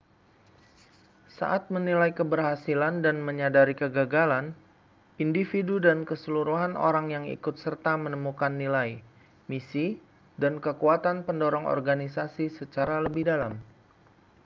saat menilai keberhasilan dan menyadari kegagalan individu dan keseluruhan orang yang ikut serta menemukan nilai misi dan kekuatan pendorong organisasi secara lebih dalam